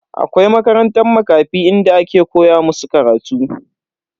Akwai makarantan Makafi inda ake koya musu karatu.